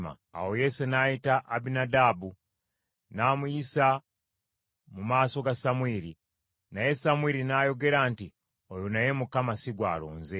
Awo Yese n’ayita Abinadaabu, n’amuyisa mu maaso ga Samwiri. Naye Samwiri n’ayogera nti, “Oyo naye Mukama si gw’alonze.”